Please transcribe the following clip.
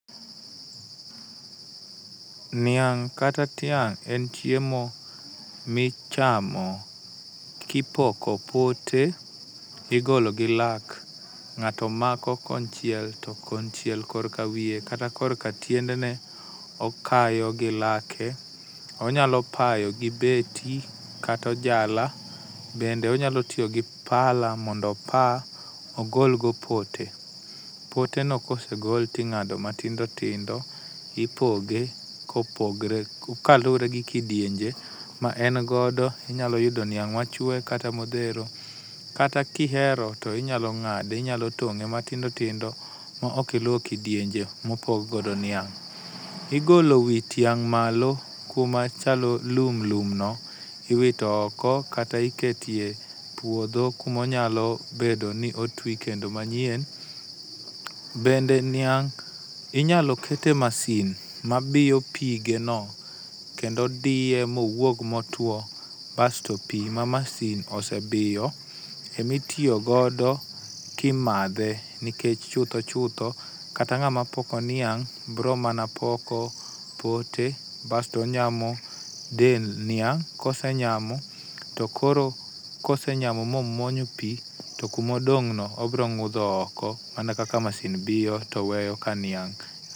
Niang' kata tiang' en chiemo ma ichamo, kipoko pote igolo gi lak. Ng'ato mako konchiel to konchiel kor kawiye kata korka tiendene okayo gi lake. Onyalo payo gi beti kata ojala bende onyalo tiyo gi pala mondo opa ogol go pote. Poteno ka osegol to ing'ado matindo tindo ipoge kopogore kaluwore gi kidienje ma en godo inyalo yudo niang' machwe kata modhero kata ka ihero to inyalo to ng'ade, inyalo tong'e matindo tindo maok iluwo kidienje ma opog godo niang'. Igolo wi tiang' malo kuma chalo lum lum no iwito oko kata iketo e puodho kuma onyalo bedo ni otwi kendo manyien. Bende niang' inyalo ket e masin mabiyo pigeno kendo diye mowuog motwo basto pi ma masin osebiyo ema itiyo godo ka imadhe nikech chutho chutho kata ng'ama poko niang' biro mana poko pote basto onyamo dend niang' ka osenyamo to koro kosenyamo momuonyo pi to kuma odong' no obiro ng'udho oko mana kaka masin biyo to weyo ka niang'.